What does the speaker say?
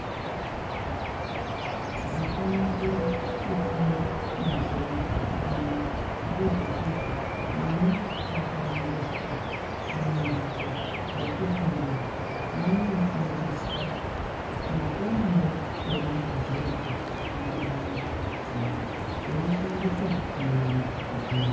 Zvakanakira kufunda mazuwa ano ngezvekuti vana vakaendeswa kumamhatso ekufundira vanofundiswa maponero angavazoita mundaramo dzawo veishandise nyara dzawo.